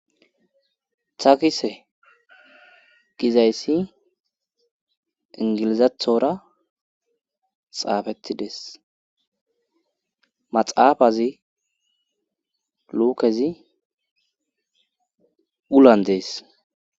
Takise gizayssi ingilizathora xaafettidees maxaafazi lukezi ulan dees.